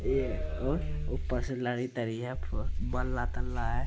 ये ओ ऊपर से लड़ी तरी है फ बल्ला तल्ला है।